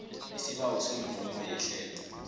isibawo semvumo yehlelo